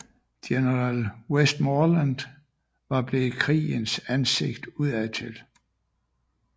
General Westmoreland var blevet krigens ansigt udadtil